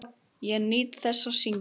Ég nýt þess að syngja.